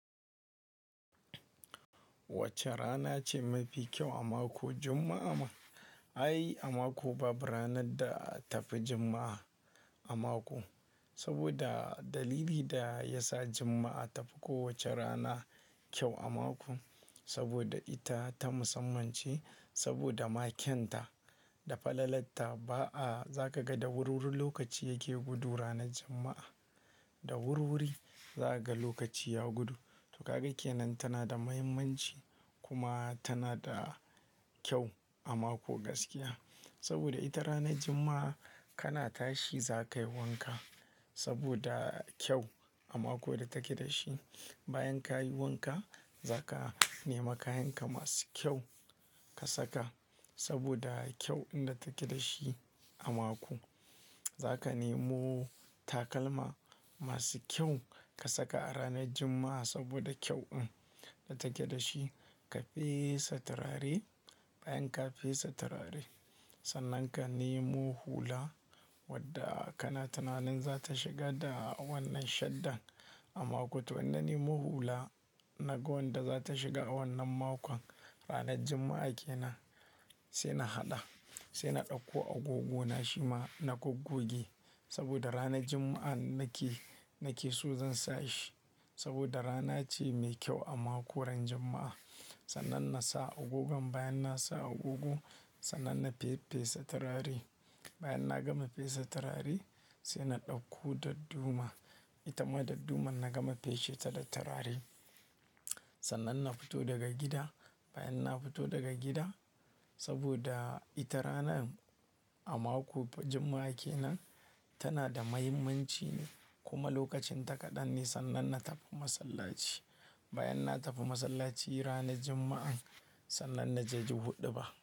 Wacce rana ce mafi kyau a mako? Juma'a ma. Ai a mako babu ranar da tafi Juma'a a mako. Saboda dalili da ya sa Juma'a tafi kowace rana kyau a mako. Saboda ita ta musamman ce, saboda ma kyan ta da falalata. Ba a-- za ka ga da wurwuri lokaci yake gudu ranar Juma'a. Da wurwuri za ka ga lokaci ya gudu. To kaga kenan tana da muhimmanci kuma tana da kyau a mako gaskiya. Saboda ita ranar Juma'a kana tashi za ka yi wanka saboda kyau a mako da take da shi. Bayan ka yi wanka za ka nema kayanka masu kyau ka saka saboda kyau da take da shi a mako. Za ka nemo takalma masu kyau ka saka a ranar Juma'a saboda kyau in da take da shi. Ka fesa turare, bayan ka fesa turare, sannan ka nemo hula wadda kana tunanin za ta shiga da wannan shaddan a mako. To wannan nemo hula nagon da za ta shiga a wannan makon. Ranar Juma'a kenan sai na haɗa, sai na ɗauko agogona shima na goggoge saboda ranar Juma'a nake, nake so zan sa shi. Saboda rana ce mai kyau a mako ran Juma'a. Sannan na sa agogon, bayan na sa agogo sannan na fe-fesa turare. Bayan na gama fesa turare sai na ɗauko dadduma. Ita ma dadduma na gama feseta da turare. Sannan na fito daga gida. Bayan na fito daga gida saboda ita rana a mako Juma'a kenan tana da muhimmanci ne kuma lokacin ta kaɗan ne sannan na tafi masallaci. Bayan na tafi masallaci ranar Juma'an sannan na je ji huɗuba.